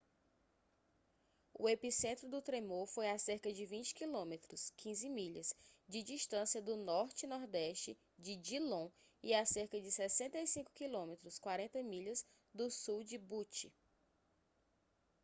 o epicentro do tremor foi a cerca de 20 km 15 milhas de distância do norte/nordeste de dillon e a cerca de 65 km 40 milhas do sul de butte